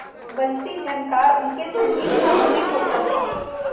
वंशीझनकार उनके संगीतसा मुखरित होता था